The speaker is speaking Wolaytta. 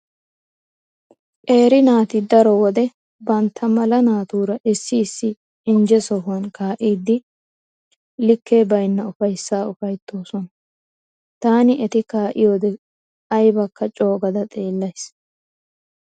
Qeeri naati daro wode bantta mala naatuura issi issi injje sohan kaa'iiddi likke baynna ufayssaa ufayttoosona. Taani eti kaa'iyode aybakka coogada xeellays.